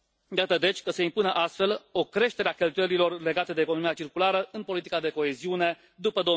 Iată, deci, că se impune astfel o creștere a cheltuielilor legate de economia circulară în politica de coeziune după